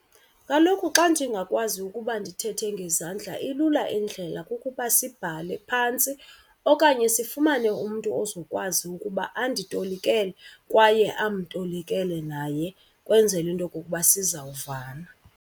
Kaloku xa ndingakwazi ukuba ndithethe ngezandla ilula endlela kukuba sibhale phantsi okanye sifumane umntu ozokwazi ukuba anditolikele kwaye amtolikele naye ukwenzela into okokuba sizawuvana.